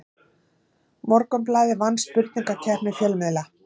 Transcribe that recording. Morgunblaðið vann spurningakeppni fjölmiðla